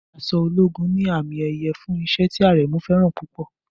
Aṣọ ológun ní àmì-ẹ̀yẹ fún iṣẹ́ tí Aremu fẹ́ràn púpọ̀.